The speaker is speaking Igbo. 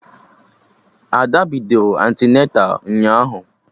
Ada bidoro antịneta ụnyaahụ